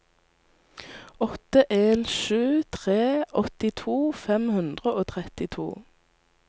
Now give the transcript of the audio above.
åtte en sju tre åttito fem hundre og trettito